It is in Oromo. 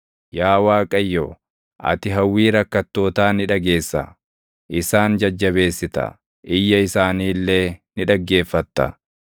Yaa Waaqayyo, ati hawwii rakkattootaa ni dhageessa; isaan jajjabeessita; iyya isaanii illee ni dhaggeeffatta;